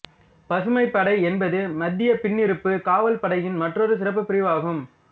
பசுமைப் படை என்பது மத்திய பின்னிருப்பு காவல் படையின் மற்றொரு சிறப்புப்பிரிவாகும்